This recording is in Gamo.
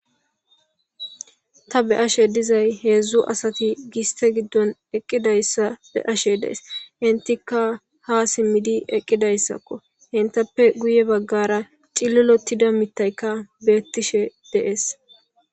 ta be ashe dizay heedzdzu asati giste giddon eqqidayssa be ashe dees intika ha simmidi eqqidayssakko intappe guye baggara cililotida mittaykka beettishe dees